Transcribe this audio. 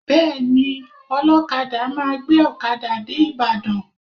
Bẹẹni, ọlọkada máa gbé ọkada dé Ibadan